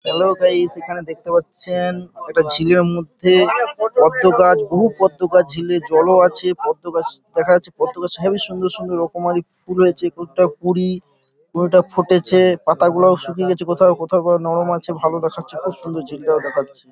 Hello guys এখানে দেখতে পাচ্ছেন একটা ঝিলের মধ্যে পদ্ম গাছ বহু পদ্ম গাছ ঝিলে জলও আছে পদ্ম গাছ দেখা যাচ্ছে । পদ্ম গাছ হেভি সুন্দর সুন্দর রকমারি ফুল হয়েছে। কোনটা কুড়ি কোনটা ফুটেছে পাতাগুলাও শুকিয়ে গেছে কোথাও কোথাও বা নরম আছে ভালো দেখাচ্ছে খুব সুন্দর ঝিলটাও দেখাচ্ছে।